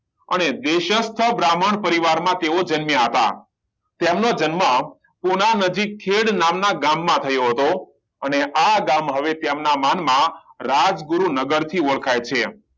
અને બ્રાહ્મણ પરિવાર માં તેઓ જન્મ્યા હતા તેમનો જન્મ પુના નજીક ખેડ નામ ના ગામ માં થયો હતો અને આ ગામ હવે તેમના નામ ના રાજગુરુનગર થી ઓળખાય છે